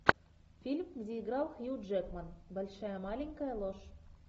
фильм где играл хью джекман большая маленькая ложь